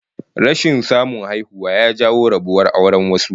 Rashin samun haihuwa ya jawo rabuwar auren wasu